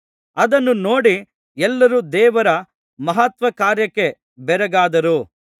ಅದನ್ನು ನೋಡಿ ಎಲ್ಲರು ದೇವರ ಮಹತ್ಕಾರ್ಯಕ್ಕೆ ಬೆರಗಾದರು ಯೇಸುಮಾಡಿದ ಎಲ್ಲಾ ಮಹತ್ಕಾರ್ಯಗಳಿಗೆ ಎಲ್ಲರೂ ಆಶ್ಚರ್ಯಪಡುತ್ತಿರಲಾಗಿ ಆತನು ತನ್ನ ಶಿಷ್ಯರಿಗೆ